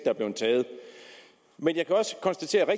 er blevet taget men jeg kan også konstatere at